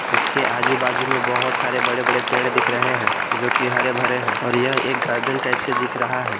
इसके आजू बाजू में बहोत सारे बड़े बड़े पेड़ दिख रहे हैं जो की हरे भरे हैं और यह एक गार्डन टाइप से दिख रहा है।